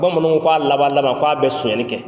Bamananw ko a laban laban k'a bɛ sonyali kɛ.